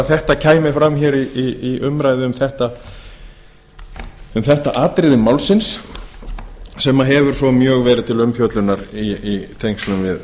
þetta kæmi fram hér í umræðu um þetta atriði málsins sem hefur svo mjög verið til umfjöllun í tengslum